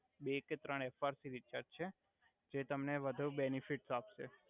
બે કે ત્રણ એફાઆર પી રીચાર્જ જે તમને વધુ બેનિફિટ આપસે